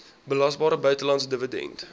belasbare buitelandse dividend